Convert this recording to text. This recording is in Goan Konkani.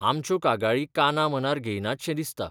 आमच्यो कागाळी कानामनार घेयनातशें दिसता.